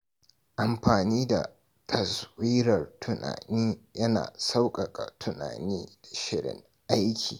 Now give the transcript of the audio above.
Amfani da taswirar tunani yana sauƙaƙa tunani da shirin aiki.